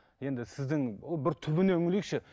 енді сіздің ол бір түбіне үңілейікші